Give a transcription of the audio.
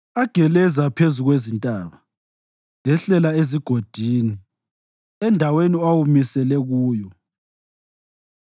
ageleza phezu kwezintaba, ehlela ezigodini endaweni owamisele kuyo.